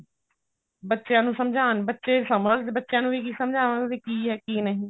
ਬੱਚਿਆਂ ਨੂੰ ਸਮਝਾਉਣ ਬੱਚੇ ਸਮਝ ਬੱਚਿਆਂ ਨੂੰ ਵੀ ਸਮਝਾਵਾਂਗੇ ਵੀ ਕੀ ਹੈ ਕੀ ਨਹੀਂ